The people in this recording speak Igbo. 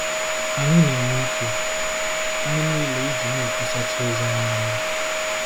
Anyị na-eme ike anyị niile iji na-ekwusachi ozi ọma anya.